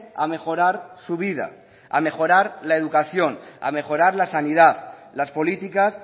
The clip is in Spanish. a mejorar su vida a mejorar la educación a mejorar la sanidad las políticas